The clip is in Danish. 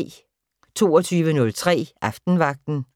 22:03: Aftenvagten